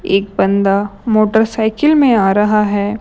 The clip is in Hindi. एक बंदा मोटरसाइकिल में आ रहा है।